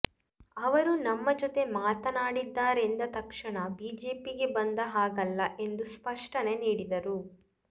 ಅವರು ನಮ್ಮ ಜೊತೆ ಮಾತನಾಡಿದ್ದಾರೆಂದ ತಕ್ಷಣ ಬಿಜೆಪಿಗೆ ಬಂದ ಹಾಗಲ್ಲ ಎಂದು ಸ್ಪಷ್ಟನೆ ನೀಡಿದರು